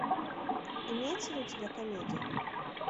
имеется ли у тебя комедия